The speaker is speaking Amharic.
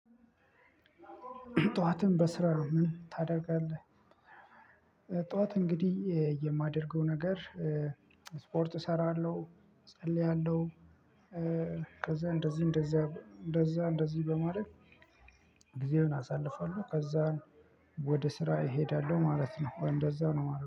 ጠዋትን በስራ ነው ምን ታደርጋለህ? ጠዋት እንግዲህ የማደርገው ነገር ስፖርት እሰራለሁ እጸልያለሁ። ከዛ እንደዚህ እንደዛ እንደዛ እንደዚህ በማድረግ ጊዜውን አሳልፋለሁ። ከዛ ወደ ስራ እሄዳለሁ ማለት ነው። ወይ እንደዛ ነው ማለት